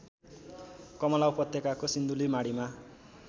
कमला उपत्यकाको सिन्धुलीमाढीमा